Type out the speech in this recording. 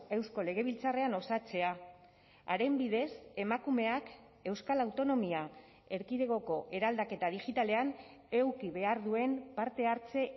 eusko legebiltzarrean osatzea haren bidez emakumeak euskal autonomia erkidegoko eraldaketa digitalean eduki behar duen parte hartze